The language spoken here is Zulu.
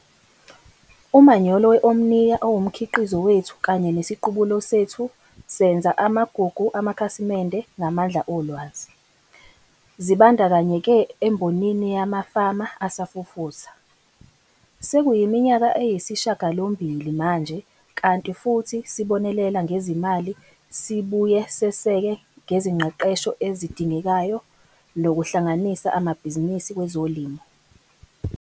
Umanyolo we-Omnia owumkhiqizo wethu kanye nesiqubulo sethu- "Senza amagugu amakhasimende ngamandla olwazi", zibandakanyeke embonini yamafama asafufusa. Sekuyiminyaka eyisishiyagalombili manje kanti futhi sibonelela ngezimali sibuye seseke ngezingqeqesho ezidingekayo nokuhlanganisa abamabhizinisi kwezolimo.